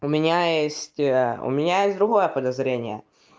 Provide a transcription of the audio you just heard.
у меня есть у меня есть другое подозрение